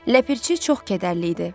Ləpirçi çox kədərli idi.